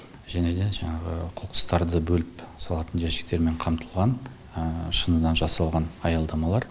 және де жаңағы қоқыстарды бөліп салатын жәшіктермен қамтылған шыныдан жасалған аялдамалар